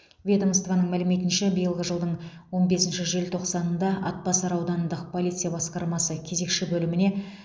ведомствоның мәліметінше биылғы жылдың он бесінші желтоқсанында атбасар аудандық полиция басқармасы кезекші бөліміне